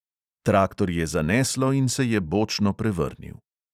Traktor je zaneslo in se je bočno prevrnil.